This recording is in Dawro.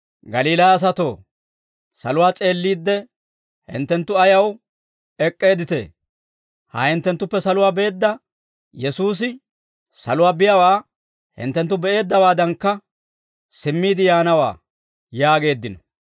«Galiilaa asatoo, saluwaa s'eelliidde, hinttenttu ayaw ek'k'eedditee? Ha hinttenttuppe saluwaa beedda Yesuusi saluwaa biyaawaa hinttenttu be'eeddawaadankka, simmiide yaanawaa» yaageeddino.